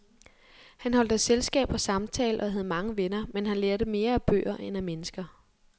Han holdt af selskab og samtale og havde mange venner, men han lærte mere af bøger end af mennesker.